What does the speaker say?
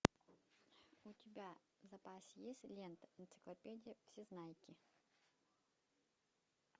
у тебя в запасе есть лента энциклопедия всезнайки